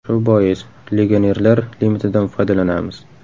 Shu bois, legionerlar limitidan foydalanamiz”.